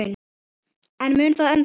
En mun það endast?